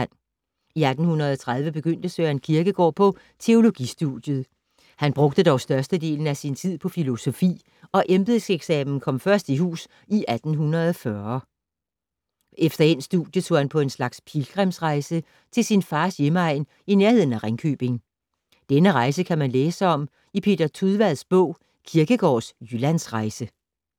I 1830 begyndte Søren Kierkegaard på teologistudiet, han brugte dog størstedelen af sin tid på filosofi og embedseksamen kom først i hus i 1840. Efter endt studie tog han på en slags pilgrimsrejse til sin fars hjemegn i nærheden af Ringkøbing. Denne rejse kan man læse om i Peter Tudvads bog Kierkegaards Jyllandsrejse.